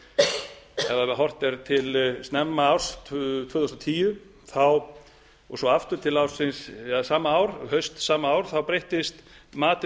ef horft er til snemma árs tvö þúsund og tíu og svo aftur til ársins eða hausts sama árs breyttist matið